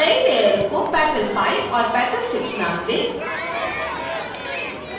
नई लेयरों को petal_5 और petal_6 नाम दें